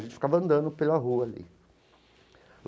A gente ficava andando pela rua ali.